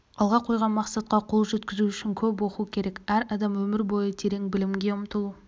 алға қойған мақсатқа қол жеткізу үшін көп оқу керек әр адам өмір бойы терең білімге ұмтылу